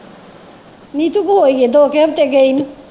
ਨੀਤੂ ਹੋਇਆ ਈ ਦੋ ਕੁ ਘੰਟੇ ਨੂੰ।